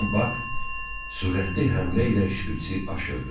Birdən Bak sürətli həmlə ilə şpitsi aşırdı.